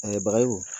An ye bagayo